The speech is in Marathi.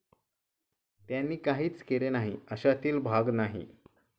त्यांनी काहीच केले नाही अशातील भाग नाही.